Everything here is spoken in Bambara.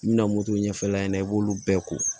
I bɛna moto ɲɛf'a ɲɛna i b'olu bɛɛ ko